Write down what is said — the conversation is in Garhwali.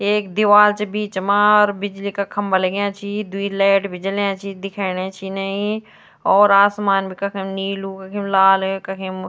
एक दीवाल च बीच मा और बिजली का खम्बा लग्यां छी द्वि लाइट भी जल्याँ छि दिखेणा छि इनै और आसमान भी कखम नीलू कखिम लाल कखिम --